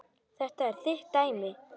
Þetta er þitt dæmi.